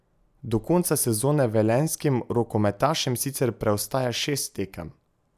Do konca sezone velenjskim rokometašem sicer preostaja šest tekem.